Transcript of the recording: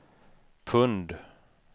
pund